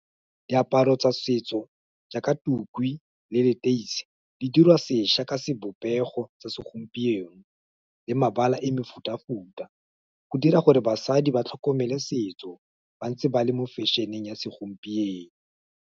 Diaparo tsa setso jaaka tukwi, le leteisi, di dirwa sešwa ka sebopego tsa segompieno, le mabala e mefuta futa, go dira gore basadi ba tlhokomele setso, ba ntse ba le mo fashion-eng ya segompieno.